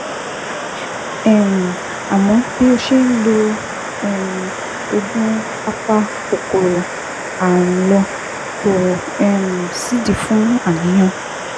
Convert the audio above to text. um Àmọ́ bí ó ṣe ń lo um oògùn apakòkòrò ààrùn lọ, kò um sídìí fún àníyàn